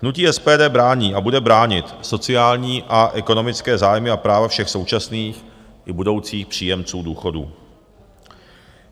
Hnutí SPD brání a bude bránit sociální a ekonomické zájmy a práva všech současných i budoucích příjemců důchodů.